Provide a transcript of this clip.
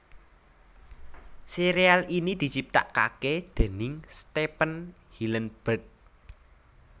Sérial ini diciptakaké déning Stephen Hillenburg